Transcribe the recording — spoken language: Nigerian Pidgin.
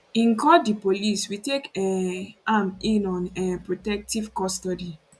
im call di police we take um am in on um protective custody